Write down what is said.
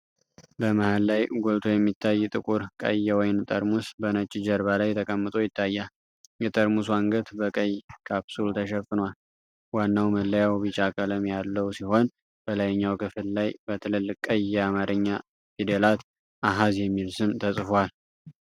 በመሃል ላይ ጎልቶ የሚታይ ጥቁር ቀይ የወይን ጠርሙስ በነጭ ጀርባ ላይ ተቀምጦ ይታያል። የጠርሙሱ አንገት በቀይ ካፕሱል ተሸፍኗል። ዋናው መለያው ቢጫ ቀለም ያለው ሲሆን፣ በላይኛው ክፍል ላይ በትልልቅ ቀይ የአማርኛ ፊደላት 'አሐዝ' የሚል ስም ተጽፏል።